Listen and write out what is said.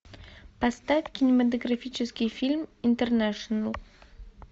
поставь кинематографический фильм интернешнл